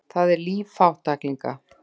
Það er líf fátæklinga.